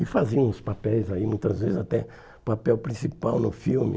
E faziam uns papéis aí, muitas vezes até papel principal no filme.